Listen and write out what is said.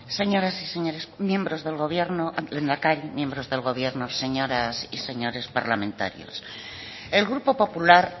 señoras y señores miembros del gobierno lehendakari miembros del gobierno señoras y señores parlamentarios el grupo popular